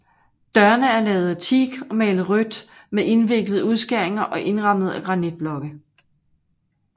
Dørene er lavet af teak og malet rødt med indviklede udskæringer og indrammet af granitblokke